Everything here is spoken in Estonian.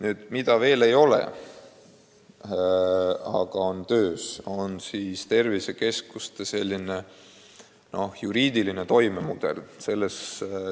Asi, mida veel ei ole, aga mis on töös, on tervisekeskuste juriidiline toimemudel.